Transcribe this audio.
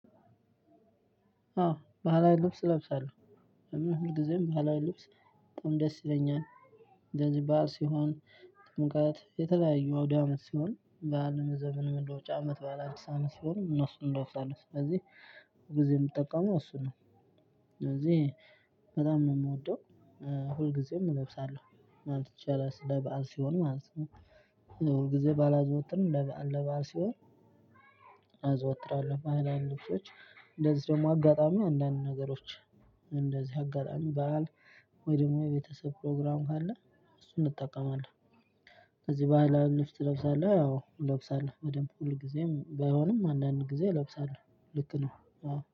አዎ ባህላዊ ልብስ እለብሳለሁ። ለምን ሁልጊዜም ባህላዊ ልብስ በጣም ደስ ይለኛል። እንደዚህ ባዓል ሲሆን ጥምቀት የተለያዩ አውዳመት ሲሆን ባዓልን ዘመን መለወጫ አመት ባዓል አዲስ አመት ሲሆን እነሱን እለብሳለው። ስለዚህ ብዙ ጊዜ የምጠቀመው እሱን ነው። ስለዚህ በጣም ነው የምወደው። ሁልጊዜም እለብሳለሁ ማለት ይቻላል ስለ በዓል ሲሆን ማለት ነው። ሁል ጊዜ ባላዘወትርም ለበአል ለበአል ሲሆን አዘወትራለሁ። ባህላዊ ልብሶች እንደዚህ ደግሞ አጋጣሚ አንዳንድ ነገሮች። እንደዚህ አጋጣሚ በዓል ወይ ደግሞ የቤተሰብ ፕሮግራም ካለ እሱን እጠቀማለሁ። ስለዚህ ባህላዊ ልብስ ትለብሳለህ ወይ? እለብሳለሁ ያው እለብሳለሁ በደንብ ሁል ጊዜም ባይሆንም አንዳንድ ጊዜ እለብሳለሁ። ልክ ነው።